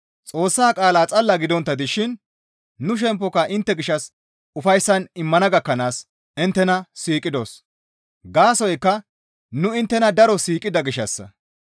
Xoossa qaala xalla gidontta dishin nu shemppoka intte gishshas ufayssan immana gakkanaas inttena siiqidos; gaasoykka nu inttena daro siiqida gishshassa.